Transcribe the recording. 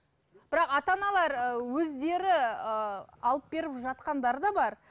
бірақ ата аналар ы өздері ыыы алып беріп жатқандары да бар